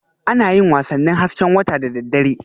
Ana yin wasannin hasken wata da daddare